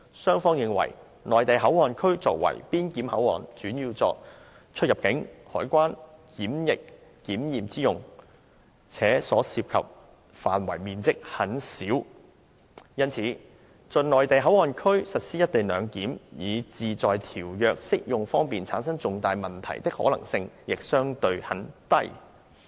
雙方認為'內地口岸區'作為邊檢口岸，主要作出入境、海關、檢疫檢驗之用，且所涉範圍面積很小，因此在'內地口岸區'實施'一地兩檢'以致在條約適用方面產生重大問題的可能性亦相對很低。